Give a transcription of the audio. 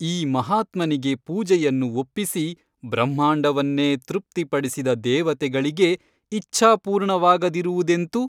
ಈ ಮಹಾತ್ಮನಿಗೆ ಪೂಜೆಯನ್ನು ಒಪ್ಪಿಸಿ ಬ್ರಹ್ಮಾಂಡವನ್ನೇ ತೃಪ್ತಿಪಡಿಸಿದ ದೇವತೆಗಳಿಗೆ ಇಚ್ಛಾಪೂರ್ಣವಾಗದಿರುವುದೆಂತು ?